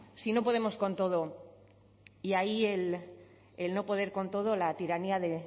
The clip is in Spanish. si no podemos con todo y ahí el no poder con todo la tiranía de